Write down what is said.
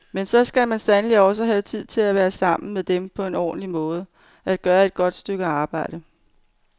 Men så skal man sandelig også have tid til at være sammen med dem på en ordentlig måde, at gøre et godt stykke arbejde.